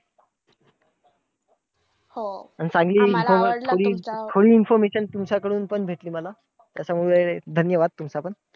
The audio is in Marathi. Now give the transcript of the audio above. हो! आणि चांगली थोडी थोडी information तुमच्याकडून पण भेटली मला. त्याच्यामुळे धन्यवाद तुमचा पण.